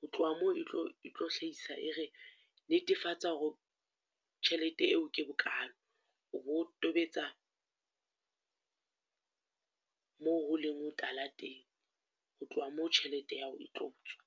Ho tloha moo etlo etlo hlahisa e re, netefatsa hore tjhelete eo ke bokalo, o bo tobetsa moo ho leng hotala teng, ho tloha moo tjhelete ya hao e tlo tswa.